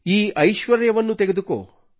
ಈ ಐಶ್ವರ್ಯವನ್ನು ತೆಗೆದುಕೋ